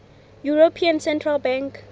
european central bank